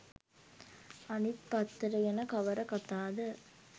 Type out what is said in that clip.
අනිත් පත්තර ගැන කවර කතාද